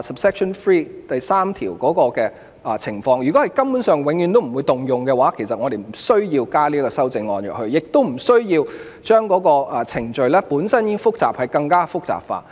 如果有關情況根本永遠不會適用的話，我們就不需要加入修正案，亦不需要把本身已經複雜的程序更複雜化。